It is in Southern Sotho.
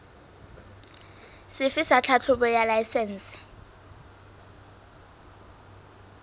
sefe sa tlhahlobo ya laesense